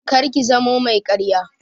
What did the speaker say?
Kar ki zamo mai ƙarya!